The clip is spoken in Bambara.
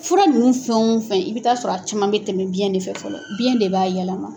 Fura ninnu fɛn o fɛn i bɛ taa sɔrɔ a caman bɛ tɛmɛ biyɛn ne fɛ fɔlɔ biyɛn de b'a yɛlɛma.